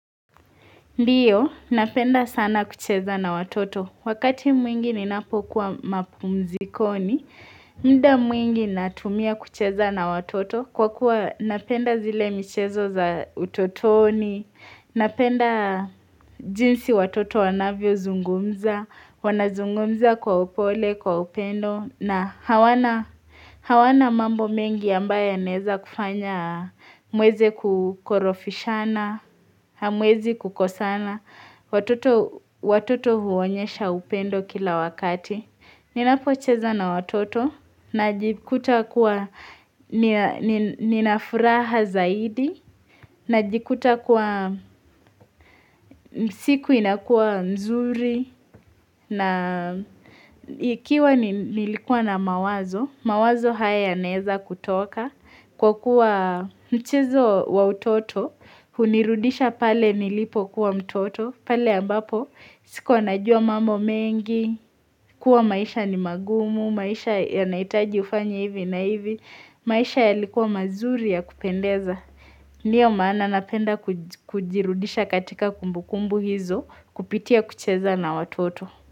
Ndiyo, napenda sana kucheza na watoto. Wakati mwingi ninapokuwa mapumzikoni, muda mwingi natumia kucheza na watoto. Kwa kuwa napenda zile michezo za utotoni, napenda jinsi watoto wanavyo zungumza, wanazungumza kwa upole, kwa upendo, na hawana mambo mengi ambaye aneza kufanya mweze kukorofishana, hamwezi kukosana, watoto huonyesha upendo kila wakati. Ninapocheza na watoto, na jikuta kuwa ninafuraha zaidi, na jikuta kuwa siku inakua mzuri, na ikiwa nilikua na mawazo, mawazo haya neza kutoka, kwa kuwa mchezo wa utoto, unirudisha pale nilipo kuwa mtoto, pale ambapo siku anajua mamo mengi, kuwa maisha ni magumu, maisha yanaitaji ufanya hivi na hivi, maisha yalikuwa mazuri ya kupendeza. Niyo maana napenda kujirudisha katika kumbukumbu hizo kupitia kucheza na watoto.